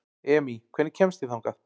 Emý, hvernig kemst ég þangað?